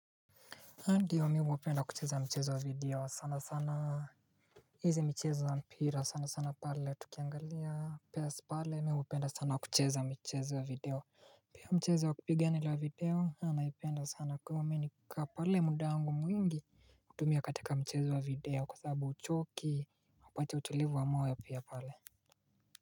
Ndio, mimi huwapenda kucheza mchezo wa video sana sana. Hizi michezo wa mpira sana sana pale tukiangalia, Pes pale mimi hupenda sana wa kucheza mchezo ya video Pia mchezo wa kupigana ule wa video naipenda sana, kama mimi nimekaa pale muda wangu mwingi hutumia katika mchezo wa video kwa sababu huchoki upate utulivu wa moyo ya pia pale.